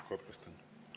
Katkestan.